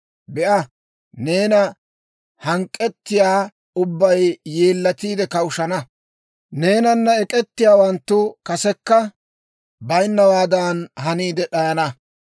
«Be'a, neena hank'k'ettiyaa ubbay yeellatiide kawushshana; neenana ek'ettiyaawanttu kasekka bayinnawaadan haniide d'ayana.